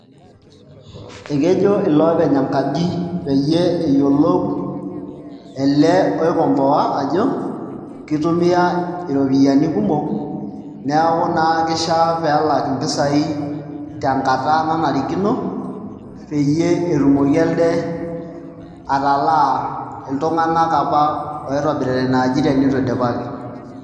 Ekejo ilo openy enkaji peyie eyiolou ele oikomboa ajo kitumia iropiyiani kumok neeku naa kishia pee elak mpisaai tenkata nanarikino peyie etumoki elde atalaa iltunganak apa oitobirita ina aji tenitu idipaki.